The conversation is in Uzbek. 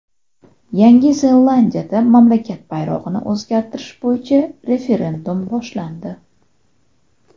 Yangi Zelandiyada mamlakat bayrog‘ini o‘zgartirish bo‘yicha referendum boshlandi.